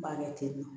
N b'a kɛ ten tɔ